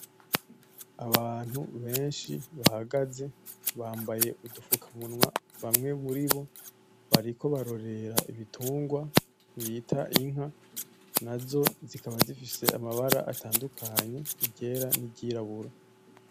Abantu benshi bahagaze, bambaye udufukamunwa, bamwe muribo bariko barorera ibitungwa bita inka nazo zikaba zifise amabara atandukanye, iryera n'iryirabura.